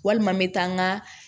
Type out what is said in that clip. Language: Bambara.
Walima n bɛ taa n ka